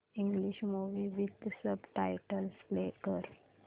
English movie with subtitles play कर